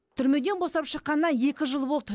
түрмеден босап шыққанына екі жыл болды